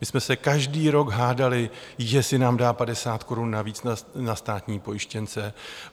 My jsme se každý rok hádali, jestli nám dá 50 korun navíc na státní pojištěnce.